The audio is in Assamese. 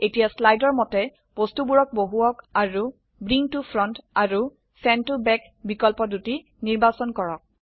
এতিয়া স্লাইডৰ মতে বস্তুবোৰক বহোৱাওক আৰু ব্ৰিং ত ফ্ৰণ্ট আৰু চেণ্ড ত বেক বিকল্প দুটি নিৰ্বাচন কৰক